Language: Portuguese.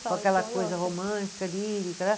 Com aquela coisa romântica, lírica, né?